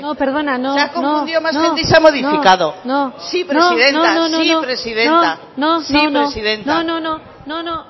se ha confundido más gente y se ha modificado sí presidenta sí presidenta se ha confundido más gente y se ha modificado no perdona no no no no